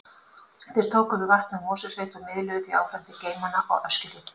Þeir tóku við vatni úr Mosfellssveit og miðluðu því áfram til geymanna á Öskjuhlíð.